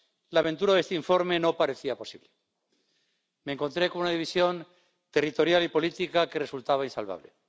la aventura de este informe no parecía posible me encontré con una división territorial y política que resultaba insalvable.